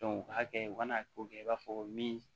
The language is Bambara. o hakɛ u kana k'o kɛ i b'a fɔ min